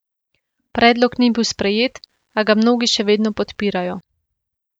Predlog ni bil sprejet, a ga mnogi še vedno podpirajo.